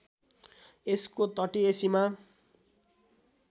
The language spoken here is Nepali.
यसको तटीय सीमा